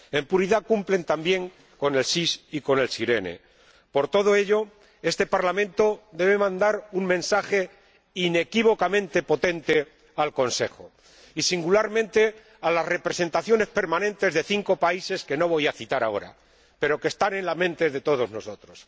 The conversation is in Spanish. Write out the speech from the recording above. En puridad, cumplen también con el SIS y con SIRENE. Por todo ello, este Parlamento debe mandar un mensaje inequívocamente potente al Consejo y, singularmente, a las representaciones permanentes de cinco países que no voy a citar ahora, pero que están en la mente de todos nosotros.